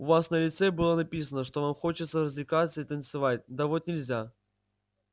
у вас на лице было написано что вам хочется развлекаться и танцевать да вот нельзя